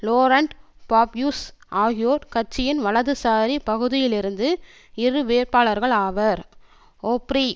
லோரண்ட் Fabius ஆகியோர் கட்சியின் வலதுசாரி பகுதியிலிருந்து இரு வேட்பாளர்கள் ஆவர் ஒப்ரி